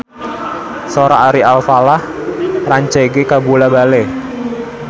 Sora Ari Alfalah rancage kabula-bale